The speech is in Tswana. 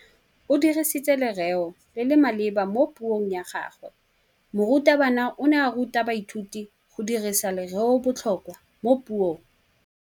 O dirisitse lerêo le le maleba mo puông ya gagwe. Morutabana o ne a ruta baithuti go dirisa lêrêôbotlhôkwa mo puong.